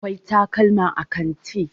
akwai takalman a kanti